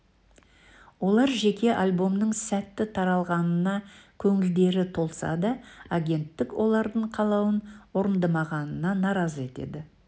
олар жеке альбомның сәтті таралғанына көңілдері толса да агенттік олардың қалауын орындамағанына наразы еді